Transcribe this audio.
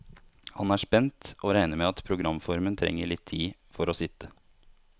Han er spent, og regner med at programformen trenger litt tid for å sitte.